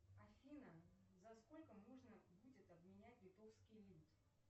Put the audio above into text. афина за сколько можно будет обменять литовский лит